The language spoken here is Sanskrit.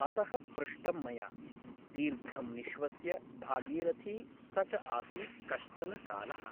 अतः पृष्टं मया । दीर्घं निश्श्वस्य भागीरथी स च आसीत् कश्चन कालः ।